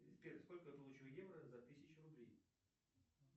сбер сколько получу евро за тысячу рублей